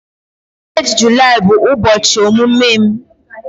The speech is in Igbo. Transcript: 8 Julaị bụ ụbọchị ọmụmụ m